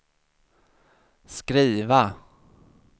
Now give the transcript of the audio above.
skriva